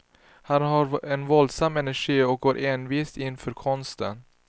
Han har en våldsam energi och går envist in för konsten.